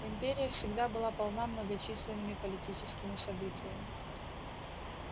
империя всегда была полна многочисленными политическими событиями